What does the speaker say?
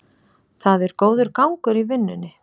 Það er góður gangur í vinnunni